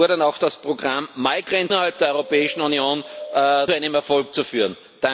Wir fordern auch, das Programm innerhalb der Europäischen Union zu einem Erfolg zu führen.